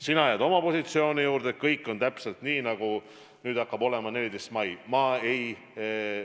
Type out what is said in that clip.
Sina jääd oma positsioonile, et kõik on täpselt nii, nagu hakkab olema alates 14. maist.